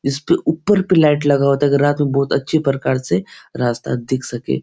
इसके ऊपर पे लाइट लगा होता है अगर रात में बहुत अच्छी प्रकार से रास्ता दिख सके।